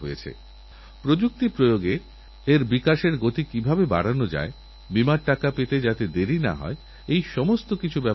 কুরুক্ষেত্রের যুদ্ধের সময় যুদ্ধক্ষেত্রেও ভগবানশ্রীকৃষ্ণ গাছেদের কথা বলেছেন যুদ্ধক্ষেত্রেও গাছেদের কথা চিন্তা করার মাহাত্ম্যযে কতখানি আমরা সেটা নিশ্চয়ই আন্দাজ করতে পারি